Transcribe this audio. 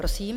Prosím.